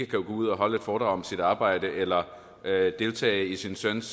gå ud og holde et foredrag om sit arbejde eller deltage i sin søns